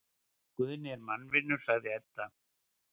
Guðni er mannvinur, sagði Edda.